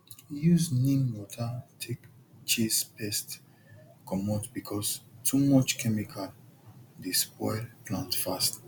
use neem water take chase pest comot because too much chemical dey spoil plant fast